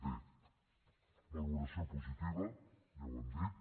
bé valoració positiva ja ho hem dit